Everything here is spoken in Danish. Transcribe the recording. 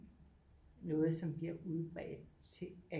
Noget som bliver udbredt til